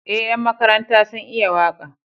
Eh ƴan makaranta sun iya waka